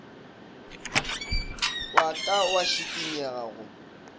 wa ka wa šikinyega go